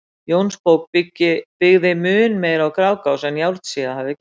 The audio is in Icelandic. Jónsbók byggði mun meira á Grágás en Járnsíða hafði gert.